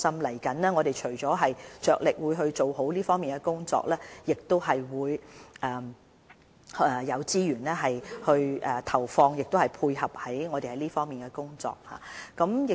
未來，我們除了會着力發展這方面的工作外，亦會有資源配合這方面的工作。